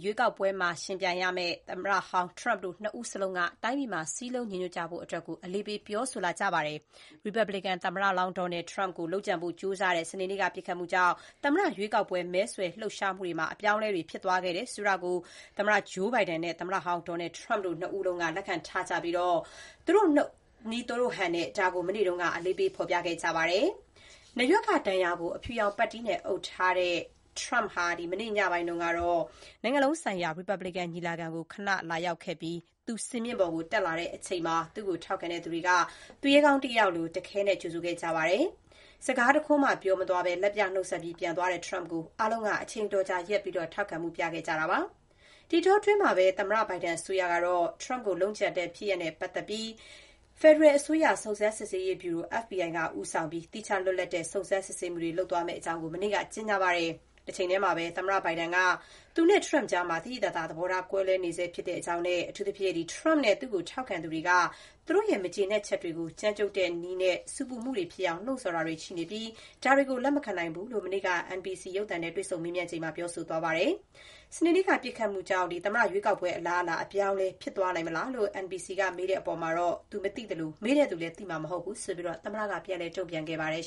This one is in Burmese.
ရွေးကောက်ပွဲမှာ ယှဥ်ပြိုင်ကြမယ့် သမ္မတ Joe Biden နဲ့ သမ္မတဟောင်း Trump တို့ နှစ်ဦးလုံးက တိုင်းပြည်မှာ စုစည်းညီညွတ်မှု ရှိကြဖို့ တိုက်တွန်း ပြောဆိုနေကြပါတယ်။ ရီပတ်ဘလီကန်ပါတီ သမ္မတလောင်း Donald Trump ကို လုပ်ကြံဖို့ ကြိုးစားတဲ့ စနေနေ့က ပစ်ခတ်မှုကြောင့် သမ္မတ ရွေးကောက်ပွဲ မဲဆွယ် လှုပ်ရှားမှုတွေ အပြောင်းအလဲ ဖြစ်သွားစေခဲ့တာကို သမ္မတ Biden နဲ့ သမ္မတဟောင်း Trump တို့နှစ်ဦးလုံးက လက်ခံထားကြပြီး သူတို့နည်း သူတို့ဟန်နဲ့ ဒါကို မနေ့က အလေးပေး ဖော်ပြခဲ့ကြပါတယ်။ နားရွက်က ဒဏ်ရာကို အဖြူရောင် ပတ်တီးနဲ့ အုပ်ထားတဲ့ Trump ဟာ မနေ့ ညနေပိုင်းက နိုင်ငံလုံးဆိုင်ရာ ရီပတ်ဘလီကန် ညီလာခံကို ခဏ လာရောက်ခဲ့ပြီး သူ စင်မြင့်ပေါ် တက်လာချိန်မှာတော့ သူ့ကို ထောက်ခံသူတွေက သူရဲကောင်း တယောက်လို တခဲနက် ကြိုဆိုခဲ့ကြပါတယ်။ စကား တခွန်းမှ ပြောမသွားဘဲ၊ လက်ပြ နှုတ်ဆက်ပြီး ပြန်သွားတဲ့ Trump ကို အားလုံးက အချိန်တော် အတော်ကြာ ရပ်ပြီး ထောက်ခံမှု ပြခဲ့ကြတာပါ။ ဒီအတောအတွင်း သမ္မတဘိုင်ဒန် အစိုးရကတော့ Trump ကို လုပ်ကြံတဲ့ ဖြစ်ရပ်နဲ့ ပတ်သက်ပြီး ဖက်ဒရယ်အစိုးရ စုံစမ်းစစ်ဆေးရေး ဗျူရို FBI က ဦးဆောင်ပြီး သီးခြား လွတ်လပ်တဲ့ စုံစမ်းစစ်ဆေးမှုတွေ လုပ်သွားမယ့်အကြောင်း မနေ့ တနင်္လာနေ့မှာပဲ ကြေညာခဲ့ပါတယ်။ တချိန်တည်းမှာလည်း သမ္မတ Biden က − သူနဲ့ Trump နဲ့ကြားမှာ သဘောထား သိသိသာသာ ကွဲလွဲနေဆဲဖြစ်ကြောင်း၊ အထူးသဖြင့် Trump နဲ့ သူ့ကို ထောက်ခံသူတွေက သူတို့ရဲ့ မကျေနပ်ချက်တွေကို ကြမ်းကြုတ်တဲ့ နည်းနဲ့ ဆူပူမှုတွေ ဖြစ်အောင် လှုံ့ဆော်တာတွေ လုပ်နေပြီး၊ ဒါတွေကို လက်မခံနိုင်ဘူးလို့ မနေ့က NBC ရုပ်သံနဲ့ တွေ့ဆုံ မေးမြန်းခန်းမှာ ပြောဆိုသွား ပါတယ်။ စနေနေ့က ပစ်ခတ်မှုကြောင့် သမ္မတ ရွေးကောက်ပွဲ အလားအလာ အပြောင်းအလဲ ဖြစ်သွားနိုင်မလား လို့ NBC က မေးတဲ့အပေါ်မှာတော့ သူ မသိသလို၊ မေးတဲ့သူလည်း သိမှာမဟုတ်ဘူးလို့ သမ္မတက ပြန်လည် တုံ့ပြန်ခဲ့ပါတယ်